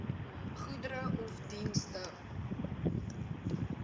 goedere of dienste